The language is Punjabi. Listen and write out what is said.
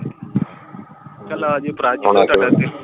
ਚਲ ਆਜਿਓ ਪਰਾ ਆਉਣਾ ਤਾਡਾ ਦਿਲ।